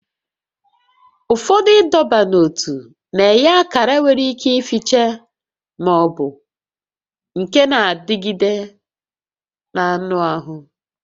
Ụfọdụ ịdọba n'ótú na-enye akara nwere ike ificha ma ọ bụ nke na-adịgide n'anụ ahụ